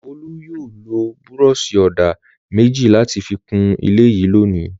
Olú yóò lo búrọ́ṣì-ọ̀dà méjì láti fi kún ilé yìí lónìí.